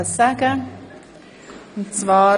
Catherine Graf Lutz (f)